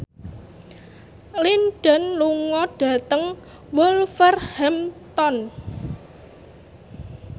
Lin Dan lunga dhateng Wolverhampton